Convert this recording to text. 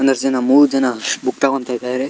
ಒಂದಷ್ಟ್ ಜನ ಮೂರ್ ಜನ ಬುಕ್ ತಕೊಂತ ಇದಾರೆ.